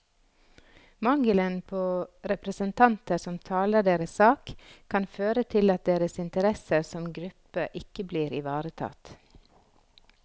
Mangelen på representanter som taler deres sak, kan føre til at deres interesser som gruppe ikke blir ivaretatt.